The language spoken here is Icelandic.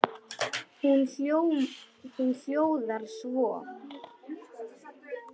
Hún hljóðar svo: